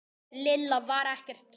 Lilla var ekkert hrædd.